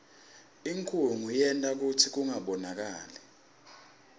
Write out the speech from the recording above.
inkhunga yenta kutsi kungabonakali